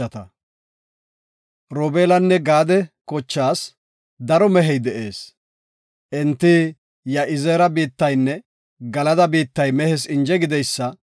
Robeelanne Gaade kochaas daro mehey de7ees. Enti Ya7izeera biittaynne Galada biittay mehes inje gideysa,